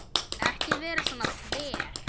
Ekki vera svona þver.